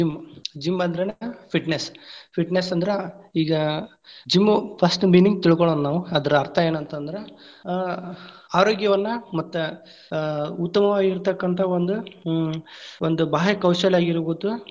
Gym, gym ಅಂದ್ರನ fitness, fitness ಅಂದ್ರ ಈಗಾ gym first meaning lang:Foreign ತಿಳಕೊಳೋನ್‌ ನಾವು. ಅದರ ಅರ್ಥಾ ಏನಂತಂದ್ರ ಆ ಆರೋಗ್ಯವನ್ನ ಮತ್ತ ಅ ಉತ್ತಮವಾಗಿರತಕ್ಕಂತಹ ಒಂದು ಹ್ಮ್‌ ಒಂದ್‌ ಬಾಹ್ಯ ಕೌಶಲ್ಯ ಆಗಿರಬಹುದು.